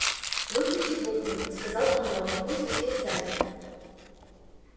выпусти буклю сказал он рону пусть летит сзади